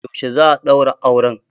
Yaushe za a ɗaura auren